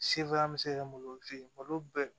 bɛ se kɛ malotigi ye malo bɛɛ